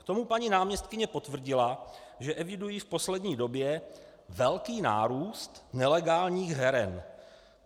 K tomu paní náměstkyně potvrdila, že evidují v poslední době velký nárůst nelegálních heren.